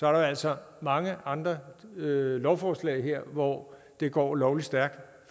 er der altså mange andre lovforslag her hvor det går lovlig stærkt